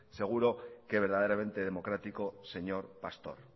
seguro que verdaderamente democrático señor pastor